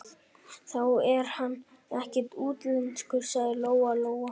Þá er hann ekkert útlenskur, sagði Lóa-Lóa.